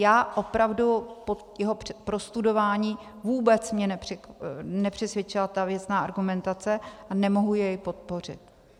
Já opravdu jeho po prostudování - vůbec mě nepřesvědčila ta věcná argumentace a nemohu jej podpořit.